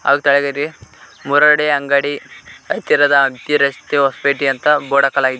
ಅಲ್ ತೆಳಗಡೆ ಮುರಡಿ ಅಂಗಡಿ ಹತ್ತಿರದ ಹಂಪಿ ರಸ್ತೆ ಹೊಸಪೇಟಿ ಅಂತ ಬೋರ್ಡ್ ಹಾಕಲಾಗಿದೆ.